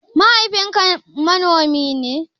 Mahaifin ka manomi ne?